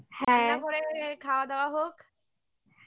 হ্যাঁ রান্নাঘরে খাওয়া দাওয়া হোক